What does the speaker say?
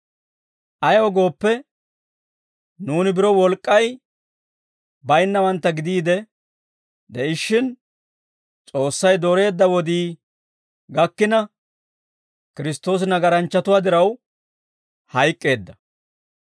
Ayaw gooppe, nuuni biro wolk'k'ay baynnawantta gidiide de'ishshin, S'oossay dooreedda wodii gakkina, Kiristtoosi nagaranchchatuwaa diraw hayk'k'eedda.